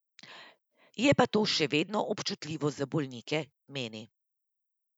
Je pa to še vedno občutljivo za bolnike, meni.